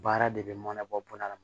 Baara de bɛ mana bɔ a la